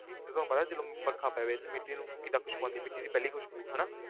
ਜਦੋਂ ਪਤਾ ਜਦੋਂ ਵਰਖਾ ਪਵੇ ਤੇ ਮਿੱਟੀ ਨੂੰ ਕਿੱਦਾਂ ਖ਼ੁਸਬੂ ਆਉਂਦੀ ਮਿੱਟੀ ਦੀ ਪਹਿਲੀ ਖ਼ੁਸਬੂ ਹਨਾ।